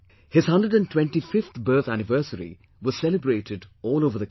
His 125th birth anniversary was celebrated all over the country